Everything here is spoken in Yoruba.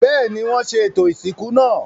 Bẹ́ẹ̀ni, wọ́n ṣe ètò ìsìnkú náà.